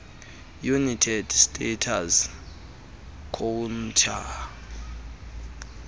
united states court